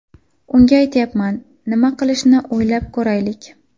Unga aytyapman, nima qilishni o‘ylab ko‘raylik.